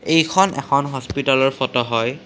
এইখন এখন হস্পিতালৰ ফটো হয়।